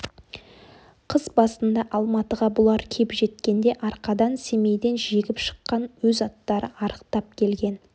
қыс басында алматыға бұлар кеп жеткенде арқадан семейден жегіп шыққан өз аттары арықтап келген